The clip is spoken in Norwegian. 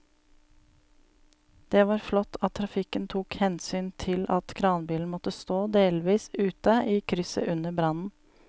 Det var flott at trafikken tok hensyn til at kranbilen måtte stå delvis ute i krysset under brannen.